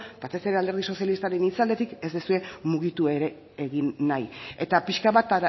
batez ere alderdi sozialistaren itzaletik ez duzue mugitu ere egin nahi eta pixka bat